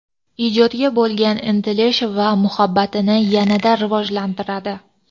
ijodga bo‘lgan intilish va muhabbatini yanada rivojlantiradi.